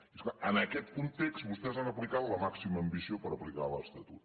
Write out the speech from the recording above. i és clar en aquest context vostès han aplicat la màxima ambició per aplicar l’estatut